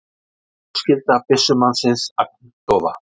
Fjölskylda byssumannsins agndofa